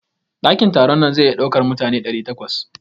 Dakin taron nan zai iya ɗaukar mutane ɗari takwas.